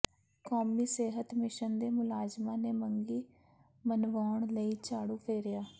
ਕੌਮੀ ਸਿਹਤ ਮਿਸ਼ਨ ਦੇ ਮੁਲਾਜ਼ਮਾਂ ਨੇ ਮੰਗਾਂ ਮਨਵਾਉਣ ਲਈ ਝਾੜੂ ਫੇਰਿਆ